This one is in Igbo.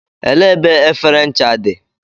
Elee ebe efere ncha dị?